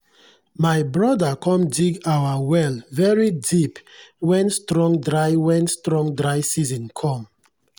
my broda com dig our well very deep wen strong dry wen strong dry season come.